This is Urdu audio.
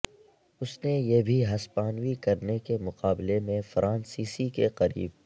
اس نے یہ بھی ہسپانوی کرنے کے مقابلے میں فرانسیسی کے قریب